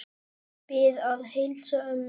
Ég bið að heilsa ömmu.